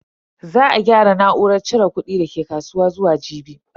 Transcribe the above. Za a gyara na'urar cire kudin dake kasuwa zuwa jibi.